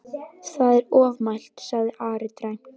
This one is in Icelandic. Það er ofmælt, sagði Ari dræmt.